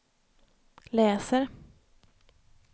läser